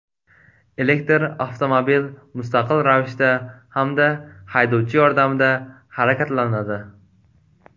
Elektr avtomobil mustaqil ravishda hamda haydovchi yordamida harakatlanadi.